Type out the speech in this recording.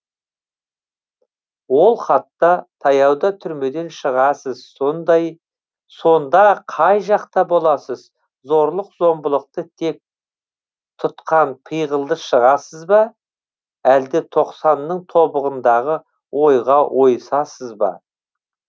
ол хатта таяуда түрмеден шығасыз сонда қай жақта боласыз зорлық зомбылықты кек тұтқан пиғылда шығасыз ба әлде тоқсанның тобығындағы ойға ойысасыз ба